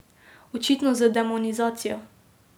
Očitno z demonizacijo.